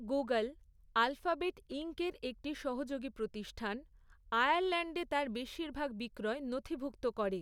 Google, Alphabet ইঙ্কের একটি সহযোগী প্রতিষ্ঠান, আয়ারল্যাণ্ডে তার বেশিরভাগ বিক্রয় নথিভুক্ত করে।